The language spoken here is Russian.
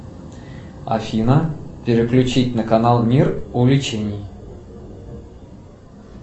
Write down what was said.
афина переключить на канал мир увлечений